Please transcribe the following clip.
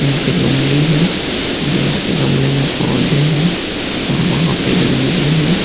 यहां पे लुंगी है और यहां पे गमले में पौधे हैं और वहां पे गंजी है।